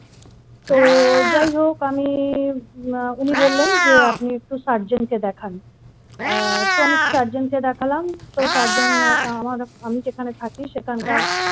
তো যাই হোক আমি উনি বললেন যে আপনি একটু surgeon কে দেখান আ তো আমি একটু surgeon কে দেখালাম তো surgeon আমার আমি যেখানে থাকি সেখানকার।